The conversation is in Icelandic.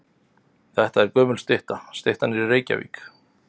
Þetta er gömul stytta. Styttan er í Reykjavík.